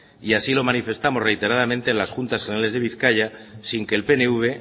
y así lo manifestamos reiteradamente en las juntas generales de bizkaia sin que el pnv